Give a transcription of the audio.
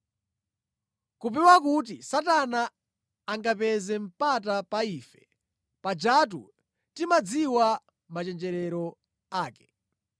kupewa kuti Satana angapezere mpata pa ife, pajatu timadziwa machenjerero ake.